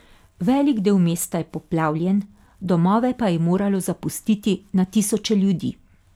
Velik del mesta je poplavljen, domove pa je moralo zapustiti na tisoče ljudi.